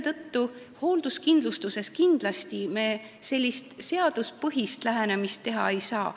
Ka hoolduskindlustuses me sellist seaduspõhist lähenemist kindlasti teha ei saa.